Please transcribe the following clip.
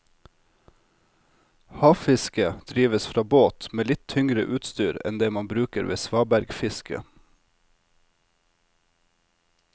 Havfiske drives fra båt med litt tyngre utstyr enn det man bruker ved svabergfiske.